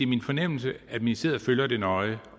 min fornemmelse at ministeriet følger det nøje